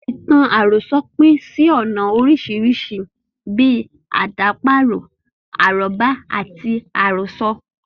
Ìtàn àròsọ pín sí ọ̀nà oríṣiríṣi bíi; àdàparo, arọ́bá, àti àròsọ.